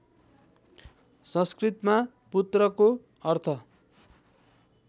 संस्कृतमा पुत्रको अर्थ